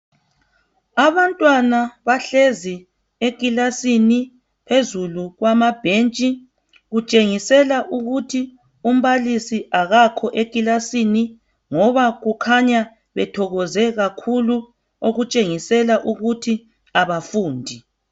Abantwana bahlezi ekilasini phezulu kwamabhentshi. Kutshengisela ukuthi umbalisi akakho ekilasini ngoba kukhanya bethokoze kakhulu okutshengisela ukuthi abafundi.